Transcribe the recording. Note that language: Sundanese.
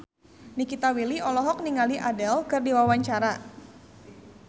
Nikita Willy olohok ningali Adele keur diwawancara